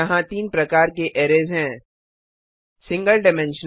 यहाँ तीन प्रकार के अरैज़ हैं160 single dimensional array single dimensional array